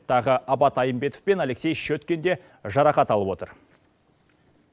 тағы абат айымбетов пен алексей щеткин де жарақат алып отыр